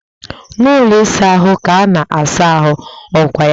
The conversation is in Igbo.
N'ụlọ ịsa ahụ ka a na asa ahụ, ọ kwa ya?